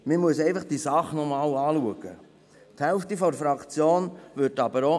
Das Anliegen muss jedoch nochmals geprüft werden.